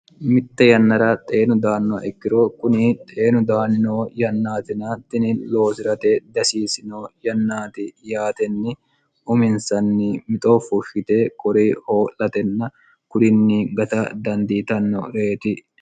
mitte yannara xeenu daanno ikkiro kuni xeenu daanino yannaatina tini loosi'rate dihasiisino yannaati yaatenni uminsanni mixo fushshite kori hoo'latenna kurinni gata dandiitanno reeti